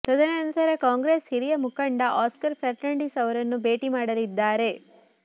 ತದನಂತರ ಕಾಂಗ್ರೆಸ್ ಹಿರಿಯ ಮುಖಂಡ ಆಸ್ಕರ್ ಫರ್ನಾಂಡಿಸ್ ಅವರನ್ನು ಭೇಟಿ ಮಾಡಲಿದ್ದಾರೆ